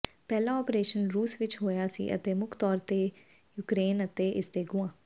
ਪਹਿਲਾ ਓਪਰੇਸ਼ਨ ਰੂਸ ਵਿਚ ਹੋਇਆ ਸੀ ਅਤੇ ਮੁੱਖ ਤੌਰ ਤੇ ਯੂਕਰੇਨ ਅਤੇ ਇਸਦੇ ਗੁਆਂ